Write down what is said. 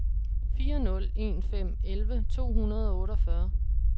fire nul en fem elleve to hundrede og otteogfyrre